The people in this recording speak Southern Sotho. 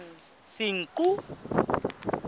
senqu